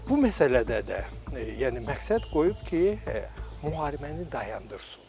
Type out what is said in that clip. Bu məsələdə də, yəni məqsəd qoyub ki, müharibəni dayandırsın.